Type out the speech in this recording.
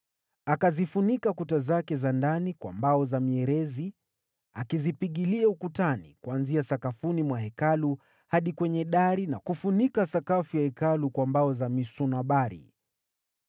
Akazifunika kuta zake za ndani kwa mbao za mierezi, akizipigilia ukutani kuanzia sakafuni mwa Hekalu hadi kwenye dari na kufunika sakafu ya Hekalu kwa mbao za misunobari.